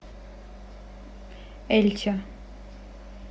эльче